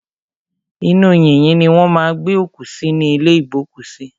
Inú yìnyín ni wọ́n má a ń gbé òkú sí ní ìlé ìgbókùsí.